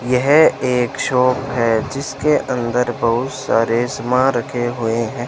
यह एक शॉप है जिसके अंदर बहुत सारे सामान रखे हुए हैं।